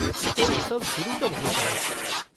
तो उत्सव शुरू कब होता है?